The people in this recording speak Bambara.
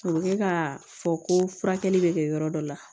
A bɛ kɛ ka fɔ ko furakɛli bɛ kɛ yɔrɔ dɔ la